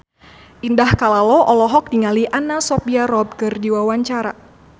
Indah Kalalo olohok ningali Anna Sophia Robb keur diwawancara